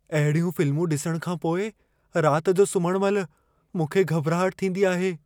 अहिड़ियूं फिल्मूं ॾिसण खां पोइ रात जो सुम्हण महिल मूंखे घॿराहट थींदी आहे।